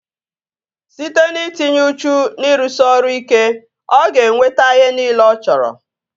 Site n'itinye uchu na ịrụsị ọrụ ike, ọ ga-enweta ihe nile ọ chọrọ